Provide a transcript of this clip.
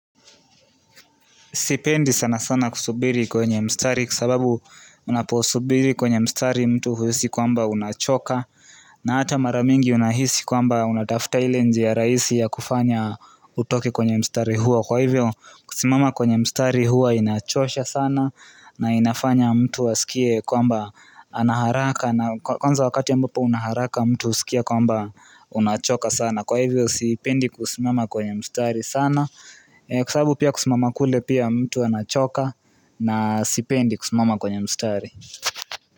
Sipendi sana sana kusubiri kwenye mstari kwa sababu unaposubiri kwenye mstari mtu huhisi kwamba unachoka na hata mara mingi unahisi kwamba unatafuta ile njia rahisi ya kufanya utoke kwenye mstari huo. Kwa hivyo kusimama kwenye mstari huwa inachosha sana na inafanya mtu asikie kwamba ana haraka na kwanza wakati ya ambapo una haraka mtu husikia kwamba unachoka sana Kwa hivyo sipendi kusimama kwenye mstari sana Kwa sababu pia kusimama kule pia mtu anachoka na sipendi kusimama kwenye mstari.